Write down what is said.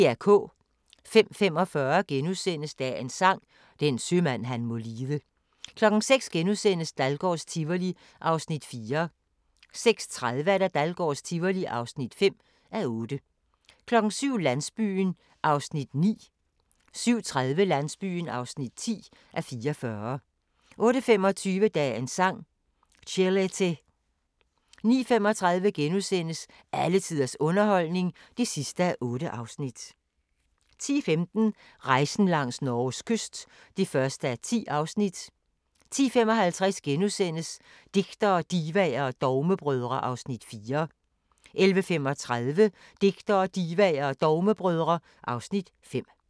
05:45: Dagens Sang: Den sømand han må lide * 06:00: Dahlgårds Tivoli (4:8)* 06:30: Dahlgårds Tivoli (5:8) 07:00: Landsbyen (9:44) 07:30: Landsbyen (10:44) 08:25: Dagens Sang: Chelete 09:35: Alle tiders underholdning (8:8)* 10:15: Rejsen langs Norges kyst (1:10) 10:55: Digtere, Divaer og Dogmebrødre (Afs. 4)* 11:35: Digtere, Divaer og Dogmebrødre (Afs. 5)